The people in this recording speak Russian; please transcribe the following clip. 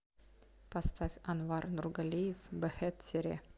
поставь анвар нургалиев бэхет сере